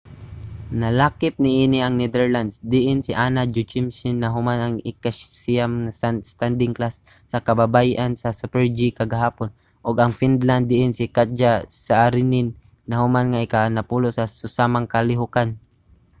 nalakip niini ang netherlands diin si anna jochemsen nahuman nga ikasiyam sa standing class sa kababayen-an sa super-g kagahapon ug ang finland diin si katja saarinen nahuman nga ikanapulo sa susamang kalihukan